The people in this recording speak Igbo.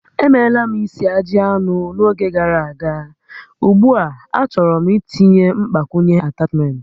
Emeela m isi ajị anụ n'oge gàrà aga, ugbu a achọrọ m itinye mgbakwunye atachment